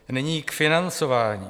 Nyní k financování.